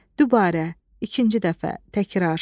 Dubarə, ikinci dəfə təkrar.